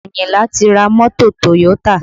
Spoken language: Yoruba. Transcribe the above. Ayinla ti ra mọ́tò Toyota